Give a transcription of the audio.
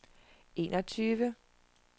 enogtyve